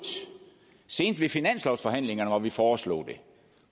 senest ved finanslovsforhandlingerne hvor vi foreslog det